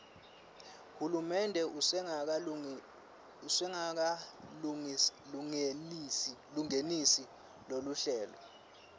hulumende usengakalungenisi loluhlelo